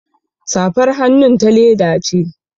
Safar hannun ta leda ce